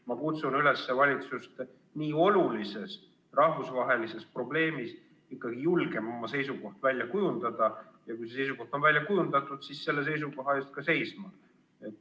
Ma kutsun üles valitsust nii olulise rahvusvahelise probleemi puhul ikkagi oma seisukohta julgelt välja kujundama ja kui see seisukoht on välja kujundatud, siis selle seisukoha eest ka seisma.